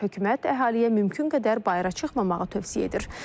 Hökumət əhaliyə mümkün qədər bayıra çıxmamağı tövsiyə edir.